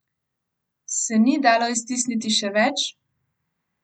Se ni dalo iztisniti še več?